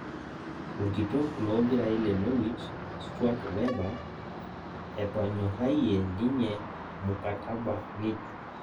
orkitok loo mpirai le noriwich stuat weba etonyorayiie ninye mukataba ng'ejuk